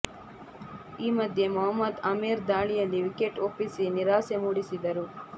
ಈ ಮಧ್ಯೆ ಮೊಹಮ್ಮದ್ ಆಮೀರ್ ದಾಳಿಯಲ್ಲಿ ವಿಕೆಟ್ ಒಪ್ಪಿಸಿ ನಿರಾಸೆ ಮೂಡಿಸಿದರು